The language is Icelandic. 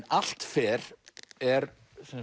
allt fer er